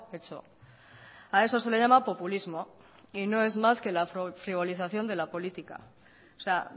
hecho a eso se le llama populismo y no es más que la frivolización de la política o sea